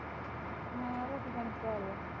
ਹਾਂ ਰੋਟੀ ਪਾਣੀ ਪਕਾ ਲਈਆਂ।